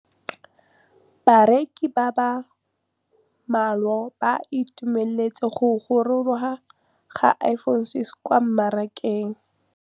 Bareki ba ba malwa ba ituemeletse go gôrôga ga Iphone6 kwa mmarakeng.